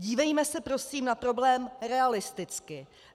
Dívejme se prosím na problém realisticky.